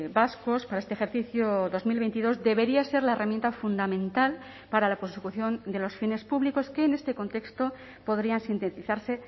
vascos para este ejercicio dos mil veintidós debería ser la herramienta fundamental para la consecución de los fines públicos que en este contexto podrían sintetizarse